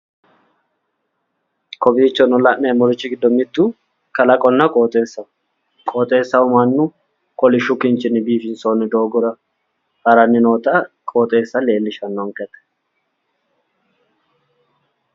Kowiichono la'neemorichi gido mitu kalaqonna qoxxeessaho qoxxeessaho Manu kolishu kinchinni biifinsoonni dooggora haranni nootto qooxeessa leelishanonkete.